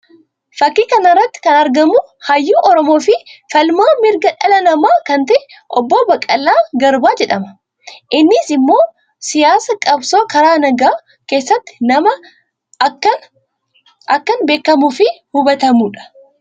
Fakkii kana irratti kan argamu hayyuu Oromoo fi falmaa mirga dhala namaa kan ta'e obbo Baqqalaa Garbaa jedhama. Innis immoo siyaasa qabsoo karaa nagaa keessatti nama akkaan beekamuu fi hubatamuu dha.